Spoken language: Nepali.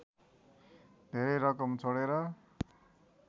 धेरै रकम छोडेर